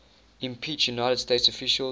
impeached united states officials